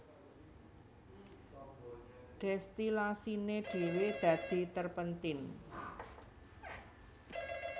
Dèstilasiné dhéwé dadi terpentin